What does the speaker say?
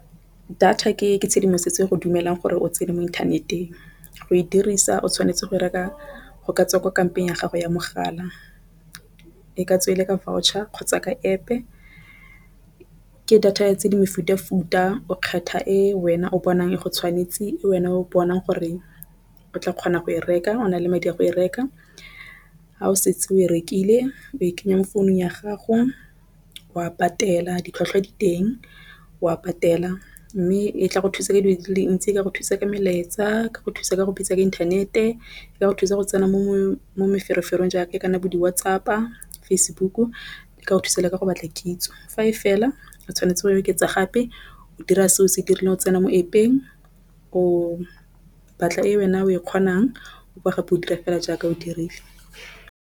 Data ke tshedimosetso go dumelang gore o tsene mo inthaneteng go e dirisa o tshwanetse go reka go tswa ko kampong ya gago ya mogala. E ka tswe e le ka voucher kgotsa ka App. Ke data tse di mefutafuta o kgetha e wena o bonang e go tshwanetse e wena o bonang gore o tla kgona go e reka o na le madi a go e reka. Ha o setse o rekile o e kenya mo founung ya gago o a patela di tlhwatlhwa diteng wa patela mme e tla go thusa tse dintsi ka go thusa ka melaetsa ka go thusa ka go bitsa ka inthanete ka go thusa go tsena mo mo meferefere jaaka kana bo di-WhatsApp, di-Facebook le ka thusa ka go batla kitso fa e fela o tshwanetse go oketsa gape o dira se o se dirile o tsena mo App-eng o batla e wena o e kgonang o ka gape o dira fela jaaka o dirile.